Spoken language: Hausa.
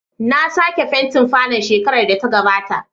Na sake fentin falon shekarar da ta gabata.